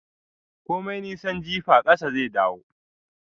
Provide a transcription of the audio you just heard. Komin nisan jifa ƙasa zai dawo